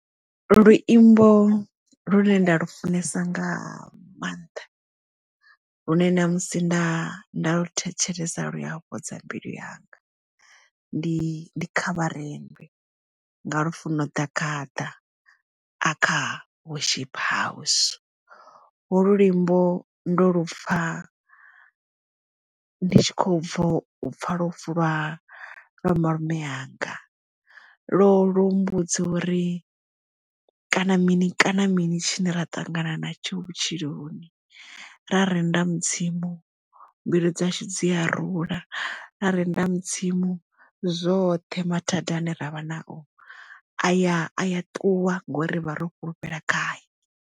Luimbo lune nda lufunesa nga maanḓa lune ṋamusi nda nda thetshelesa lu ya fhodza mbilu yanga ndi khavharendwe nga Lufuno Ḓagaḓa a kha worship house ho lwo luimbo ndo lupfa ndi tshi kho ubvo upfa lufu lwa malume yanga lo lo mmbudza uri kana mini kana mini tshine ra ṱangana na tsho vhutshiloni ra renda mudzimu mbilu dzashu dzi a rula ra renda mudzimu zwoṱhe mathadani ane ravha nao aya a ya ṱuwa ngori rivha ro fhulufhela khae.